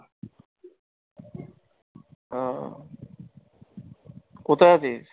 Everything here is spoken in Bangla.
আহ কোথায় আছিস?